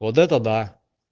вот это да